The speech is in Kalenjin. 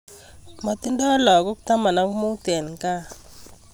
Matindo lakok tama ak mut en kaa